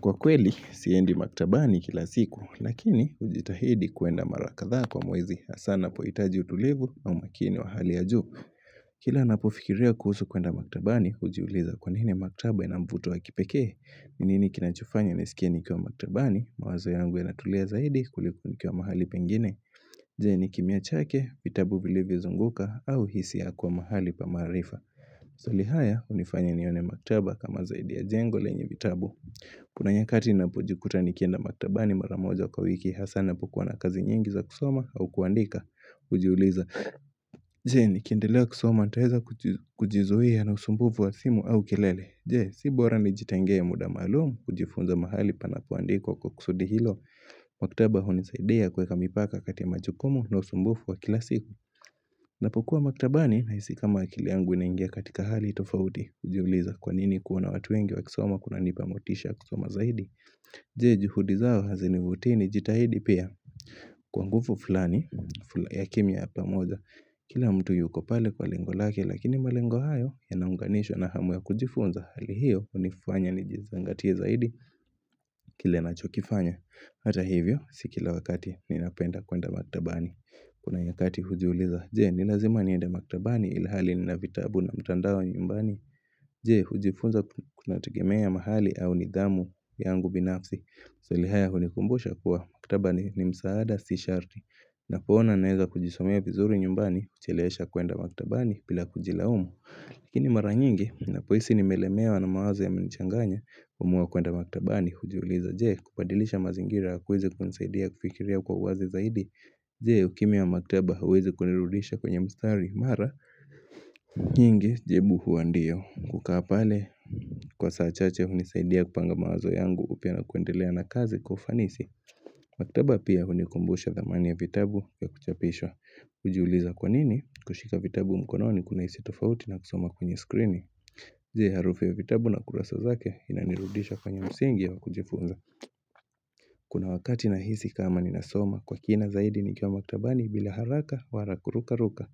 Kwa kweli, siendi maktabani kila siku, lakini ujitahidi kuenda marakadhaa kwa mwezi asana poitaji utulivu au makini wa hali ya juu. Kila napofikiria kuhusu kuenda maktabani, ujiuliza kwa nini maktaba inamvuto wa kipekee. Mimi kinachofanya nisikie nikiwa maktabani, mawazo yangu ya natulia zaidi kuliko ni kiwa mahali pengine. Je, ni kimya chake, vitabu vile vizunguka au hisi ya kwa mahali pamaharifa. Zoli haya, unifanya nione maktaba kama zaidi ya jengo lenye vitabu. Kuna nyakati na pojikuta nikenda maktabani maramoja kwawiki hasana pokuwa na kazi nyingi za kusoma au kuandika Ujiuliza, jee nikiendelea kusoma taeza kujizoea na usumbufu wa simu au kilele Je, si borani jitengea muda malum, ujifunza mahali pana kuandiko kwa kusudi hilo Maktaba huni saidia kuweka mipaka kati ya majukumu na usumbufu wa kilasiku na pokuwa maktabani, naisi kama akiliangu inaingia katika hali tofauti Ujiuliza kwanini kuona watu wengi wa kisoma kuna nipamotisha kusoma zaidi Je juhudi zao hazini vutini jitahidi pia Kwa ngufu fulani fulani ya kimya yapa moja Kila mtu yuko pale kwa lengo lake lakini malengo hayo ya naunganisho na hamu ya kujifunza Hali hiyo unifanya nijizangatie zaidi kile nachokifanya Hata hivyo sikila wakati ninapenda kuenda maktabani Kuna yakati hujiuliza Jee ni lazima nienda maktabani ilhali ni navitabu na mtandao nyumbani Jee hujifunza kuna tegemea mahali au nidhamu yangu binafsi So lihaya hulikumbusha kuwa maktaba ni msaada si sharti na poona naeza kujisomea vizuri nyumbani kucheleesha kuenda maktaba ni pila kujila umu Lakini mara nyingi na poisi ni melemewa na mawazo ya menichanganya Uamuwa kuenda maktaba ni hujiuliza Jee kupadilisha mazingira kuweze kunisaidia kufikiria kwa uwazi zaidi Jee ukimya wa maktaba huwezi kunirudisha kwenye mstari mara, nyingi jebu huwa ndiyo. Kukapale, kwa saachache unisaidia kupanga mawazo yangu upyana kuendelea na kazi kwaufanisi. Maktaba pia unikumbusha dhamani ya vitabu vya kuchapisha. Ujiuliza kwanini kushika vitabu mkononi kuna hisi tofauti na kusoma kwenye skrini. Je, harufu ya vitabu na kurasa zake inanirudisha kwenye msingi yakujifunza. Kuna wakati na hisi kama ni nasoma kwa kina zaidi nikyo maktabani bila haraka wala kuruka ruka.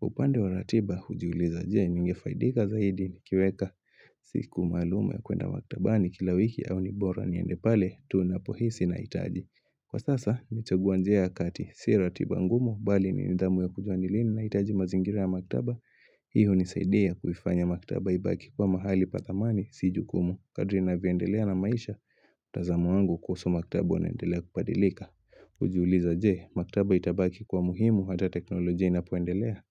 Upande wa ratiba hujiuliza je ningefaidika zaidi ni kiweka siku maluum ya kuenda maktabani kila wiki au nibora ni endepale tuunapohisi na itaji Kwa sasa na chaguanjia akati si ratiba ngumu bali ni nidhamu ya kujuanilini na itaji mazingira ya maktaba hiyo hunisaidia kuifanya maktaba ibaki kuwa mahali pathamani sijukumu kadrina viendelea na maisha mtazamo wangu kuhusu maktaba unaendelea kupadilika Ujiuliza jee, maktaba itabaki kuwa muhimu hata teknolojia inapoendelea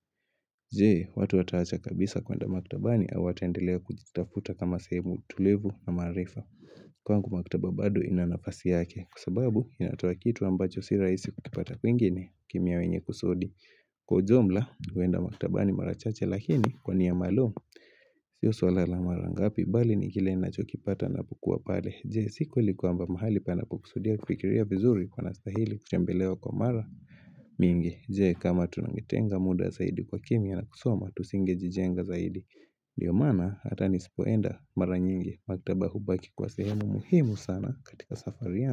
Jee, watu wataacha kabisa kuenda maktaba ni awataendelea kujitafuta kama sehemu tulivu na maarifa Kwa ngu maktaba bado inanafasi yake Kwasababu, inatowa kitu ambacho siraisi kukipata kuingine kimya wenye kusudi Kwa ujumla, huenda maktaba ni marachache lakini kwa niya maluum Sio swala la marangapi, bali ni kile ninachokipata na pokua pale Jee siku likuamba mahali pana kukusudia kufikiria vizuri kwa nastahili kutembelewa kwa mara mingi Jee kama tunangitenga muda zaidi kwa kimya na kusoma tusinge jijenga zaidi Diomana hatani sipoenda mara nyingi maktabahu baki kwa sehemu muhimu sana katika safariyangu.